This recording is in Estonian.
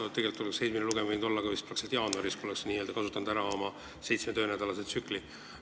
See lugemine oleks tegelikult võinud olla jaanuaris, kui me oleks lähtunud oma seitsme töönädala tsüklist.